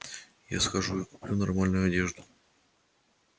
я схожу и куплю нормальную одежду